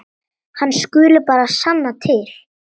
Hann skuli bara sanna til.